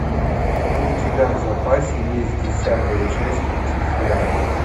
у тебя в запасе есть десятая часть люцифера